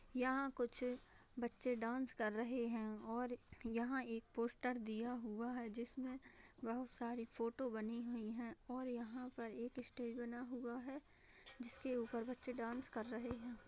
यहाँ कुछ बच्चे डांस कर रहे हैं और यहाँ एक पोस्टर दिया हुआ है जिसमें बहोत सारी फोटो बनी हुई हैं और यहाँ पर एक स्टेज बना हुआ है जिसके ऊपर बच्चे डांस कर रहे हैं।